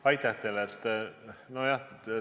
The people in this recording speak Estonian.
Aitäh teile!